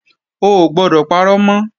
O ò gbọdọ̀ parọ́ mọ́!